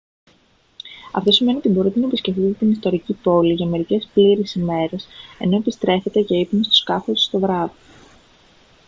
αυτό σημαίνει ότι μπορείτε να επισκεφτείτε την ιστορική πόλη για μερικές πλήρεις ημέρες ενώ επιστρέφετε για ύπνο στο σκάφος το βράδυ